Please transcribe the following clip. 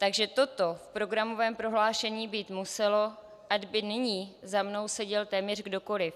Takže toto v programovém prohlášení být muselo, ať by nyní za mnou seděl téměř kdokoliv.